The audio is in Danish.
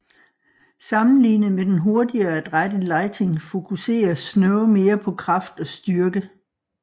Sammenlignet med den hurtige og adrætte Lighting fokuserer Snow mere på kraft og styrke